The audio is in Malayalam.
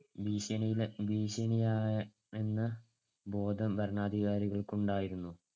ഭീഷണിയാ~ ഭീഷണിയാണെന്നുള്ള ബോധം ഭരണാധികാരികൾക്ക് ഉണ്ടായിരുന്നു.